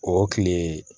O kile